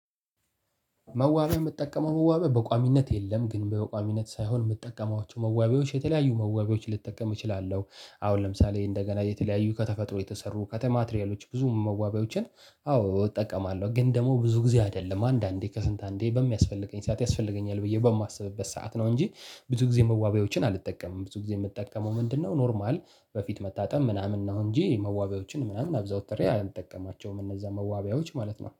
መዋቢያው የምትጠቀመው መዋቢያ በቋሚነት የለም ግን በቋሚነት ሳይሆን የምትጠቀሟቸው መዋቢያዎች የተለያዩ መዋቢያዎች ልጠቀም እችላለሁ አሁን ለምሳሌ እንደገና የተለያዩ ከተፈጥሮ የተሰሩ ከተማ ትሪያሎች ብዙ መዋቢያዎችን አዎ እጠቀማለሁ ግን ደግሞ ብዙ ጊዜ አይደለም አንዳንዴ ከስንት አንዴ በሚያስፈልገኝ ሰዓት ያስፈልገኛል ብዬ በማስብበት ሰዓት ነው። እንጂ ብዙ ጊዜ መዋቢያዎችን አልጠቀምም ብዙ ጊዜ የምጠቀመው ምንድነው? ኖርማል በፊት መታጠብ ምናምን ነው እንጂ መዋቢያዎችን ምናምን አዘውትሬ አልጠቀማቸውም። እነዛ መዋቢያዎች ማለት ነው